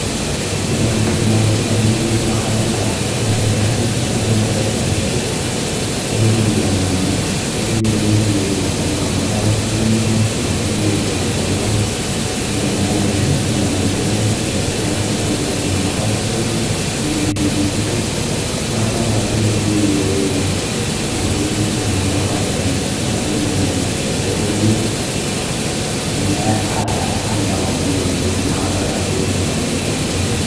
Ore etoki nalotu indamunot tene wuei naa kadolita ilorikan sidan oteshataki lootonie iltunganak, ketonie ore ene wueji naa ewueji neponu iltunganak atonie neponu aiij ekolong, idim ninye atoosho etumo amu, ketii ilorikan sidan ooponu iltunganak atonie nining enijito. Naa kadolita ajo ore ene wueji naa ewueji natii iltunganak aponu atoni aponu aininingisho . Neponu ninye anya ilomon neaku kadolita ajo enetonieki ene, wueji.